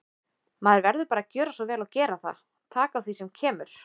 Maður verður bara að gjöra svo vel og gera það, taka á því sem kemur.